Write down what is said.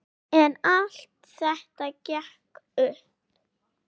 En allt gekk þetta upp.